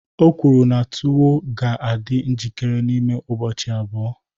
O kwuru na tuwo ga-adị njikere n'ime ụbọchị abụọ